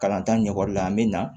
Kalanta ɲɛkɔrɔli la an be na